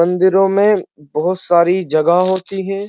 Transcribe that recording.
मन्दिरों में बहोत सारी जगह होती है।